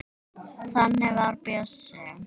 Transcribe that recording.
Þannig var Bjössi.